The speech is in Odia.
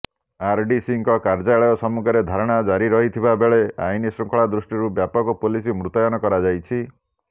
ଆରଡିସିଙ୍କ କାର୍ଯ୍ୟାଳୟ ସମ୍ମୁଖରେ ଧାରଣା ଜାରି ରହିଥିବା ବେଳେ ଅଇନଶୃଙ୍ଖଳା ଦୃୃଷ୍ଟିରୁ ବ୍ୟାପକ ପୁଲିସ ମୁତୟନ କରାଯାଇଛି